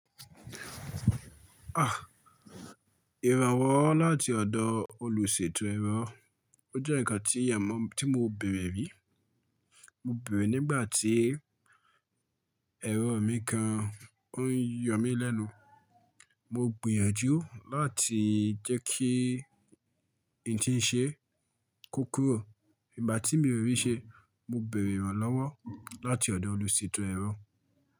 Ah! Ìrànwọ́ láti ọ̀dọ̀ olùṣètò ẹ̀rọ, ó jẹ́ nǹkan tí ìyà mo tí mo bèrè rí. Mo bere nígbà tí ẹ̀rọ mi kan ó ń yọ̀ mí lẹ́nu. Mo gbìyànjú láti jẹ́ kí ìnti ń ṣe ko kúrò, ìgbà tí mi ò rí ṣe, mo bèrè ìrànlọ́wọ́ láti ọ̀dọ̀ olùṣètò ẹ̀rọ.